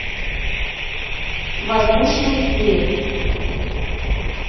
воздушный мир